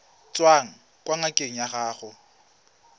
tswang kwa ngakeng ya gago